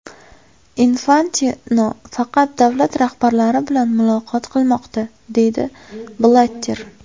Infantino faqat davlat rahbarlari bilan muloqot qilmoqda”, deydi Blatter.